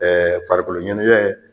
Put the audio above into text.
farikolo ɲɛnajɛ.